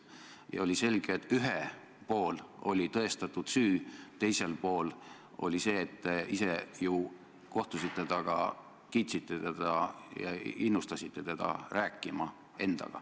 Ja oli selge, et ühel pool oli tõestatud süü, teisel pool oli inimene, kellega te ju ise kohtusite, keda te kiitsite ja keda innustasite endaga rääkima.